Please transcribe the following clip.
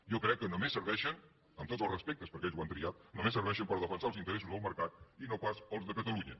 jo crec que només serveixen amb tots els respectes perquè ells ho han triat per defensar els interessos del mercat i no pas els de catalunya